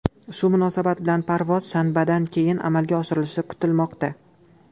Shu munosabat bilan parvoz shanbadan keyin amalga oshirilishi kutilmoqda.